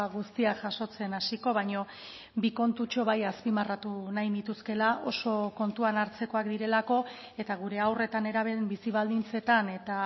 guztiak jasotzen hasiko baino bi kontutxo bai azpimarratu nahi nituzkela oso kontuan hartzekoak direlako eta gure haur eta nerabeen bizi baldintzetan eta